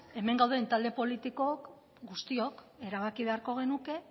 hemen gauden talde politiko guztiok erabaki beharko genuke